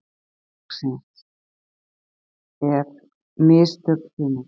Spurning dagsins er: Mistök sumarsins?